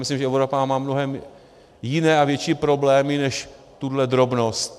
Myslím, že Evropa má mnohé jiné a větší problémy než tuhle drobnost.